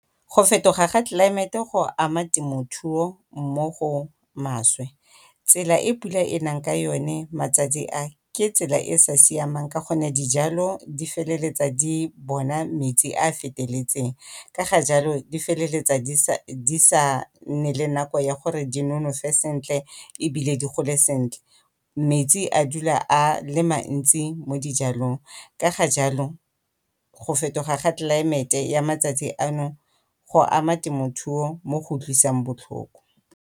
Go fetoga ga tlelaemete go ama temothuo mo go maswe. Tsela e pula e nang ka yone matsatsi a ke tsela e e sa siamang ka gonne dijalo di bona metsi a a feteletseng ka jalo di feleletsa di sa nne le nako ya gore di nonofe sentle ebile di gole sentle. Metsi a dula a le mantsi mo dijalong ka ga jalo go fetoga ga tlelaemete ya matsatsi ano go ama temothuo mo go utlwisang botlhoko.